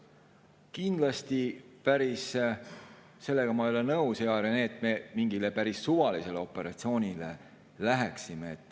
Sellega, hea Rene, ma ei ole päris nõus, nagu me mingile päris suvalisele operatsioonile läheksime.